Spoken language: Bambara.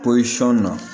Pɔlisɔn na